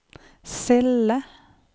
celle